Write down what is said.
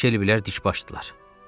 Guya Şelbilər dikbaşdılar.